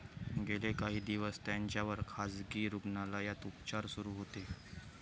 गेले काही दिवस त्यांच्यावर खासगी रुग्णालयात उपचार सुरू होते.